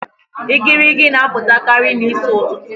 Igirigi n'apụtakarị n'isi ụtụtụ